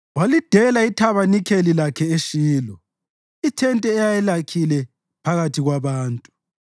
Walidela ithabanikeli lakhe eShilo, ithente ayelakhile phakathi kwabantu.